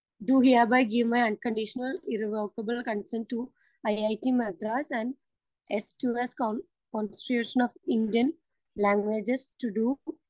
speaker 2 I do hereby give my unconditional, irrevocable consent to IIT Madras and the S two S consortium for Indian languages to Dr